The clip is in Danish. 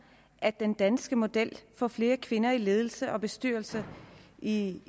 af den danske model for flere kvinder i ledelser og bestyrelser i